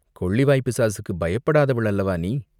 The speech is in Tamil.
கொள்ளிவாய்ப் பிசாசுக்குப் பயப்படாதவள் அல்லவா நீ?